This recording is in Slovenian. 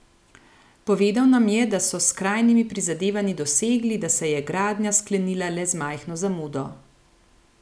Povedal nam je, da so s skrajnimi prizadevanji dosegli, da se je gradnja sklenila le z majhno zamudo.